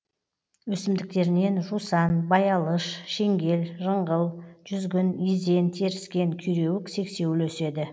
өсімдіктерінен жусан баялыш шеңгел жыңғыл жүзгін изен теріскен күйреуік сексеуіл өседі